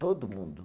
Todo mundo.